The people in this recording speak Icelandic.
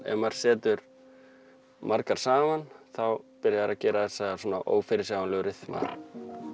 ef maður setur margar saman þá byrja þær að gera þessa ófyrirsjáanlegu ryþma